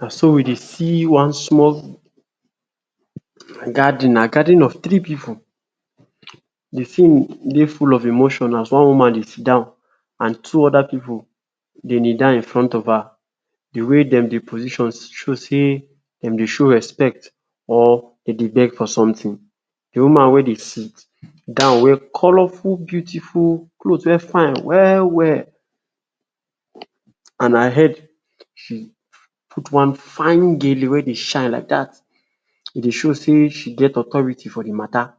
Na so we dey see one small gathering, na gathering of tiree pipu di tin dey full of emotion as one woman dey sidon and two oda pipu dey kneel down in front of her. Di wey dem dey position show sey dem dey show respect or dem dey beg for sometin, di woman wey dey sidon wear colorful, beautiful cloth wey fine well well and her head she put one fine gele wey dey shine like dat, e dey show sey she get authority for di mata.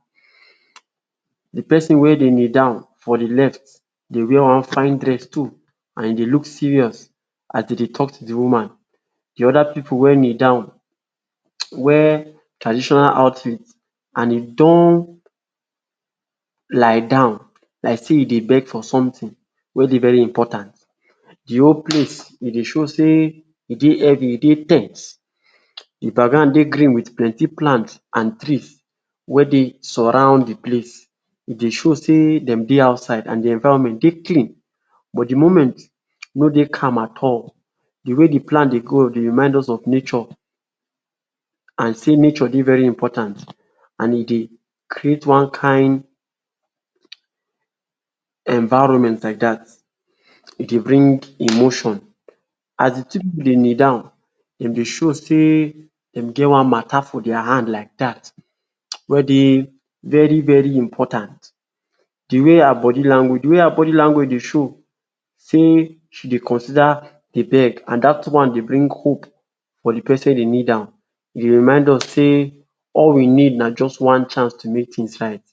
Di pesin wey dey kneel down for di left dey wear one fine dress too and e dey look serious as dem dey talk to di woman. Di oda pipu wey kneel down wear traditional outfit and e don um lie down like sey e dey beg for sometin wey dey very important, di whole place e dey show sey sey e sey heavy, e dey ten sed. Di background dey green wit plenty plant and trees wey dey surround di place, e dey show sey dem dey outside and di environment dey clean but di moment no dey calm at all, di way di plant dey grow dey remind us of nature and sey nature dey very important and e dey create one kain environment like dat to bring emotion. As di pipu dey kneel down dem dey show sey dem get one mata for dia hand like dat wey dey very very important. Di way her body language di way her body language dey show sey she dey consider di beg and dat one dey bring hope for di pesin wey dey kneel down, e dey remind us sey all we need na just one chance to make tins right.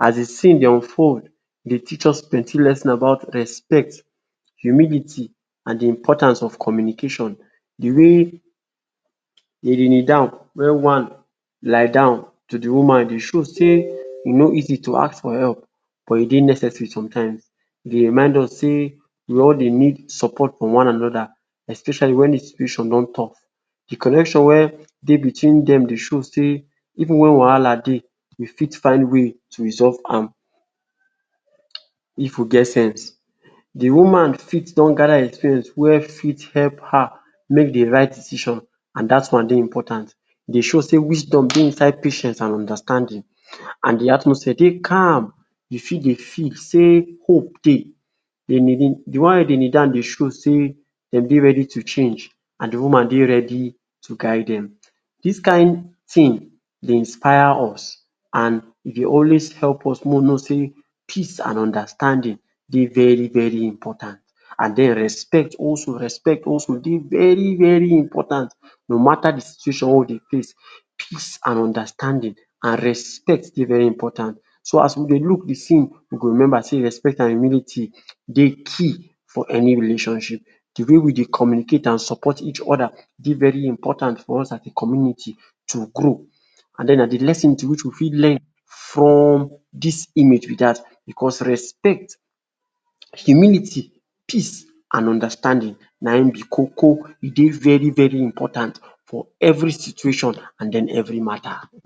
As di scene dey unfold e dey teach us plenty lesson about respect, humility and di importance of communication, di way dem dey kneel down wey one lay down to di woman dey show sey e no easy to ask for help but e dey necessary sometimes. E dey remind us sey we all dey need support from one anoda especially when di situation don tough, connection wey dey between dem dey show sey even wen wahala dey we fit find way to resolve am if we get sense. Di woman fit don gather experience wey fit help her make di right decision and dat one dey important, e dey show sey wisdom dey inside patience and understanding and di atmosphere dey calm, you fit dey feel sey hope dey. Dem dey, di one wey dey kneel down show sey dem dey ready to change and di woman dey ready to guide dem dis kain tin dey inspire us and e dey always help us make we know sey peace and understanding dey very very important and den respect also respect also dey very very important no mata di situation wey we dey face peace and understanding and respect dey very important. So as we dey look di scene we go remember sey respect and humility dey key for any relationship. Di way we dey communicate and support each oda dey very important for us as a community to grow and den na di lesion which we fit learn from dis image be dat because respect, humility, peace and understanding na him be koko e dey very important for every situation and den every mata.